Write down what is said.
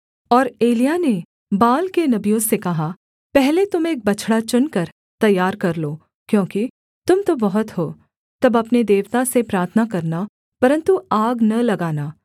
और एलिय्याह ने बाल के नबियों से कहा पहले तुम एक बछड़ा चुनकर तैयार कर लो क्योंकि तुम तो बहुत हो तब अपने देवता से प्रार्थना करना परन्तु आग न लगाना